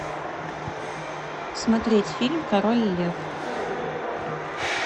смотреть фильм король лев